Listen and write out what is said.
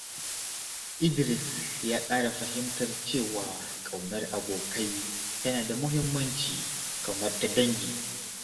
Idris ya ƙara fahimtar cewa ƙaunar abokai tana da muhimmanci kamar ta dangi.